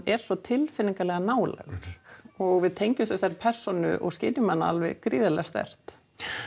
er svo tilfinningalega nálægur og við tengjumst þessari persónu og skynjum hana alveg gríðarlega sterkt